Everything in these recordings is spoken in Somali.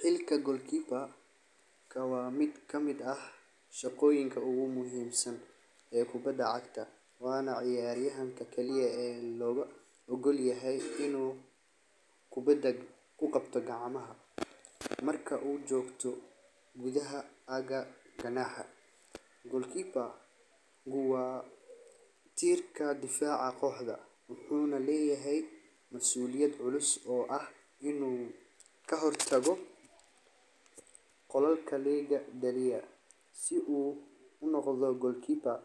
Xilka goalkeeper waa miid kamiid ah shaqoyinka ugu muhiim san ee kubaada wana ciyar yahanka ee kali ah oo logu ogol yahay in kubaada gacanta u kuqabto marka u jogto gudaha, goalkeeper wuxuu leyahay mas uliyaad culus ee ah in u ka hortago si u unoqdo goalkeeper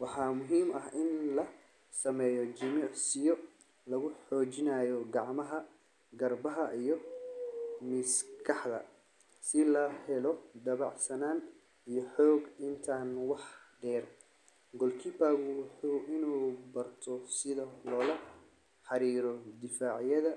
waxa muhiim ah in la sameyo jimisiyo lagu jojinayo gacmaha garbaha iyo maskaaxda si lo helo sitha lola xariro difacyaada.